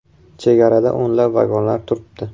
“Chegarada o‘nlab vagonlar turibdi.